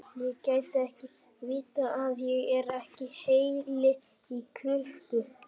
Ég get ekki vitað að ég er ekki heili í krukku.